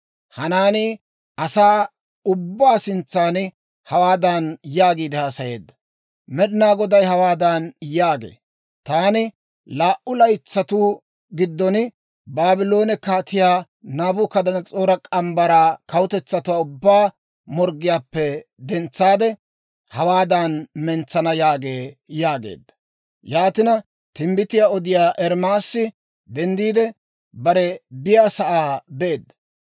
Hanaanii asaa ubbaa sintsan hawaadan yaagiide haasayeedda; «Med'inaa Goday hawaadan yaagee; ‹Taani laa"u laytsatuu giddon Baabloone Kaatiyaa Naabukadanas'oora morgge mitsaa kawutetsatuwaa ubbaa morggiyaappe dentsaade hawaadan mentsana› yaagee» yaageedda. Yaatina, timbbitiyaa odiyaa Ermaasi denddiide, bare biyaasaa beedda.